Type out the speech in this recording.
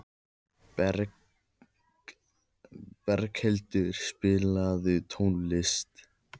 Berghildur, spilaðu tónlist.